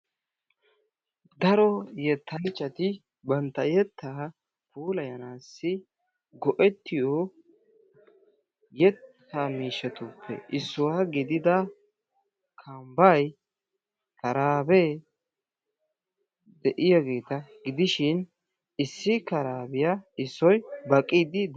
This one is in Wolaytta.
Daro yettanchchati bantta yetta puulayasanassi go''etiyoo miishshatuppe issuwaa gidida kambbay, karabe de'iyaageeta gidishin issi karabiya issoy baqqidi des.